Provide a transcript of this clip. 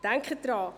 Denken Sie daran: